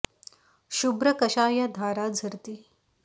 शुभ्र कशा या धारा झरती